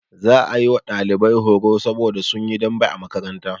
Za a yi wa ɗalibai horo saboda sun yi dambe a makaranta.